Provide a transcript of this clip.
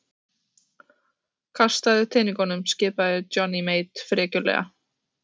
Kastaðu teningunum skipaði Johnny Mate frekjulega.